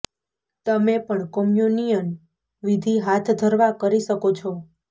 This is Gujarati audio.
તમે પણ કોમ્યુનિયન વિધિ હાથ ધરવા કરી શકો છો